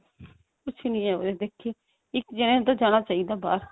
ਕੁੱਝ ਨਹੀ ਹੈ ਉਰੇ ਦੇਖੀ ਇੱਕ ਜਾਣੇ ਨੂੰ ਤਾਂ ਜਾਣਾ ਚਾਹੀਦਾ ਬਾਹਰ